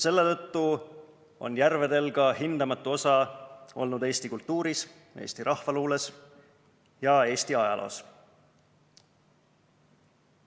Selle tõttu on järvedel olnud hindamatu osa eesti kultuuris, eesti rahvaluules ja Eesti ajaloos.